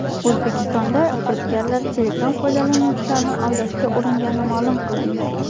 O‘zbekistonda firibgarlar Telegram foydalanuvchilarini aldashga uringani ma’lum qilindi.